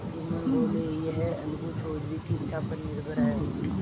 जुम्मन बोलेयह अलगू चौधरी की इच्छा पर निर्भर है